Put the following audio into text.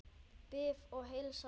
Bið að heilsa pabba.